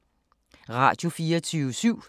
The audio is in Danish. Radio24syv